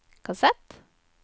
kassett